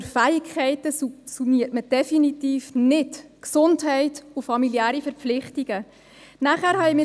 Ich möchte nur richtigstellen, dass man unter «Fähigkeiten» definitiv nicht Gesundheit und familiäre Verpflichtungen subsumiert.